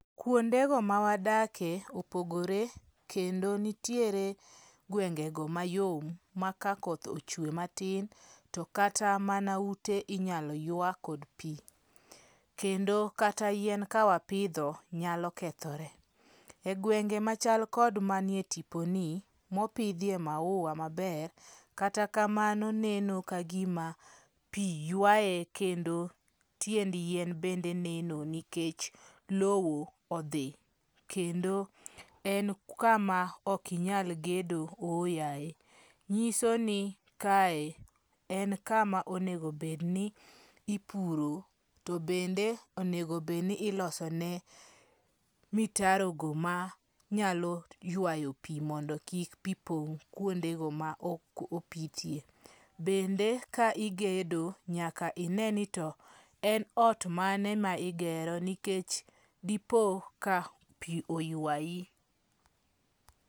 Kuonde go mawadakie, opogore kendo nitiere gwengego mayom ma ka koth ochwe matin to kata mana ute inyalo ywa kod pi. Kendo kata yien ka wapidho nyalo kethore. E gwenge machal kod manie tipo ni mopidhie maua maber katakamano neno ka gima pi ywaye kendo tiend yien bende neno nikech lowo odhi. Kendo en kama ok nyal gedo ooyaye. Nyiso ni kae en kama onego bed ni ipuro. To bende onego bed ni iloso ne mitaro go manyalo ywayo pi mondo kik pi pong' kuonde go ma opithie. Bende ka igedo nyaka ine ni to en ot mane ma igero nikech dipo ka pi oywayi.